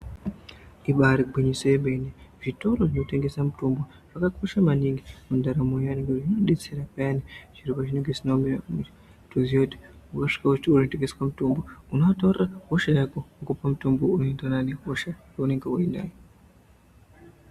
Ibairi gwinyiso yemene zvitoro zvinotengese mitombo zvakakosha maningi mundaramo yevantu, inodetsera piyani zviro zvinenge zvisina kumira mushe kutozive kuti kutosvike kunotengeswe mitombo unoataurira hosha yako okupa mutombo unoenderana nehosha yaunenge uinayo.